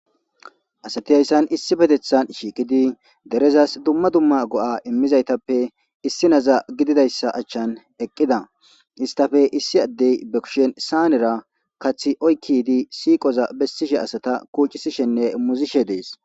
asati hayssan issipetethan shiiqidi derezas dumma dumma go7a immizaytappe issi naza gididayssa achchan eqqida istape issi addey be kushen saanera kathi oykkidi siiqoza bessishe asata kuucisishenne muzishe dees